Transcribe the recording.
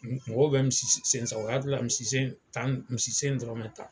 Mɔgɔw bɛ misi sen u hakili la misisen dɔrɔn bɛ ta